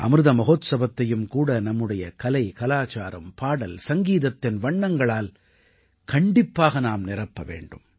அமிர்த மஹோத்சவத்தையும் கூட நம்முடைய கலை கலாச்சாரம் பாடல் சங்கீதத்தின் வண்ணங்களால் கண்டிப்பாக நாம் நிரப்ப வேண்டும்